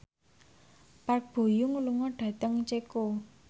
Park Bo Yung lunga dhateng Ceko